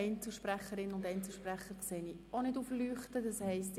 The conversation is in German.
Einzelsprecherinnen und Einzelsprecher haben sich auch nicht angemeldet.